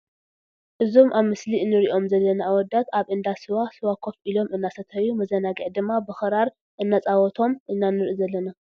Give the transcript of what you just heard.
እዞም ኣብ ምስሊ ንሪኦም ዘላና ኣውዳት ኣብ እንዳ ስዋ ስዋ ኮፍ ኢሎም እናስተዩ መዝናግዒ ድማ ብኽራር እናፃወቶም ኢና ንርኢ ዝለና ።